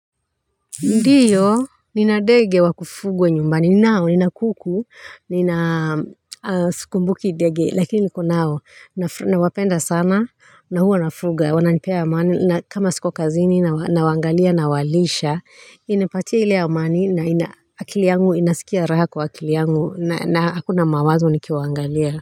Ndiyo nina ndege wakufugwa nyumbani ninao nina kuku nina skumbukni dege lakini niko nao nawapenda sana na huo wanafuga wananipea amani na kama sikuwa kazini na wangalia na walisha inapatia ile amani na akiliangu inasikia raha kwa akiliangu na hakuna mawazo nikiwaangalia.